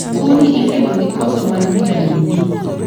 Tuo ni ikelo gi koso mar vitamin D.